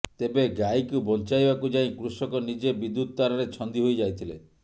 ତେବେ ଗାଇକୁ ବଞ୍ଚାଇବାକୁ ଯାଇ କୃଷକ ନିଜେ ବିଦ୍ୟୁତ ତାରରେ ଛନ୍ଦି ହୋଇଯାଇଥିଲେ